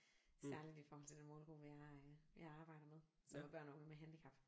Særligt i forhold til den målgruppe jeg øh jeg arbejder med som er børn og unge med handicap